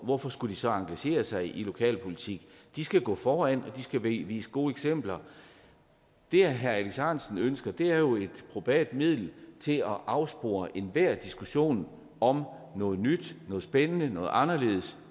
hvorfor skulle de så engagerer sig i lokalpolitik de skal gå foran og de skal vise gode eksempler det herre alex ahrendtsen ønsker er jo et probat middel til at afspore enhver diskussion om at noget nyt noget spændende noget anderledes